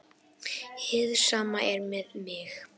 Hið sama er með mig.